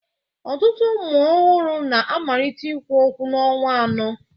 Ọtụtụ ụmụ ọhụrụ na-amalite ikwu okwu n'ọnwa anọ